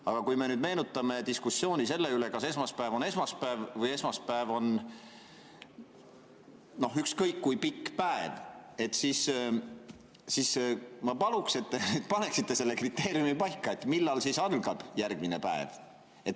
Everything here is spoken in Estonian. Aga kui me nüüd meenutame diskussiooni selle üle, kas esmaspäev on esmaspäev või esmaspäev on ükskõik kui pikk päev, siis ma paluksin, et te paneksite paika kriteeriumi, millal algab järgmine päev.